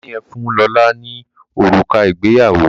Daniel fún lọla òrùka ìgbéyàwó